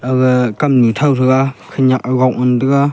aga kamnu thao taiga khanyak ajok ngan taiga.